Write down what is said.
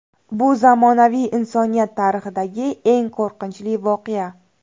Bu zamonaviy insoniyat tarixidagi eng qo‘rqinchli voqea.